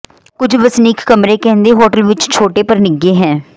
ਕੁਝ ਵਸਨੀਕ ਕਮਰੇ ਕਹਿੰਦੇ ਹੋਟਲ ਵਿੱਚ ਛੋਟੇ ਪਰ ਨਿੱਘੇ ਹੈ